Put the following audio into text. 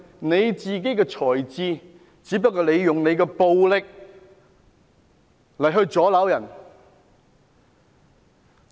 你不是用你的才智，而只是用你的暴力來阻撓別人。